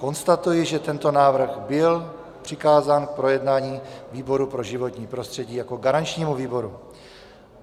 Konstatuji, že tento návrh byl přikázán k projednání výboru pro životní prostředí jako garančnímu výboru.